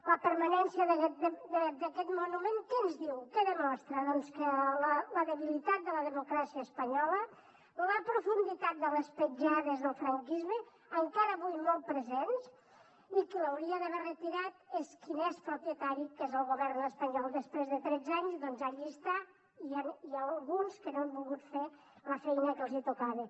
la permanència d’aquest monument què ens diu què demostra doncs la debilitat de la democràcia espanyola la profunditat de les petjades del franquisme encara avui molt presents i qui l’hauria d’haver retirat és qui n’és propietari que és el govern espanyol i després de tretze anys doncs allí està i n’hi ha alguns que no han volgut fer la feina que els tocava